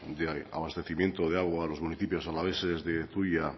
de abastecimiento de agua a los municipios alaveses de zuia